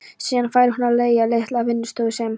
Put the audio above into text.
Síðan fær hún á leigu litla vinnustofu sem